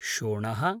शोणः